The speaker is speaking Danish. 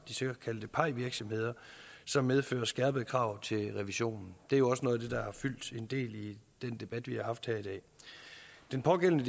de såkaldte pie virksomheder som medfører skærpede krav til revisionen det er også noget af det der har fyldt en del i den debat vi har haft her i dag den pågældende